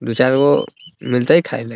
दू चार गो मिलतइ खाय ला |